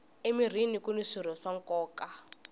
emirhini kuni swirho swa nkoka